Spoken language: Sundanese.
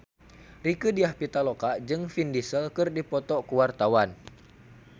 Rieke Diah Pitaloka jeung Vin Diesel keur dipoto ku wartawan